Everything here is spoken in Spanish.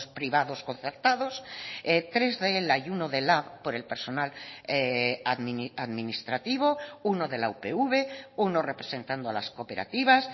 privados concertados tres de ela y uno de lab por el personal administrativo uno de la upv uno representando a las cooperativas